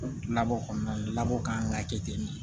Labɔ kɔnɔna na bɔ kan ka kɛ ten de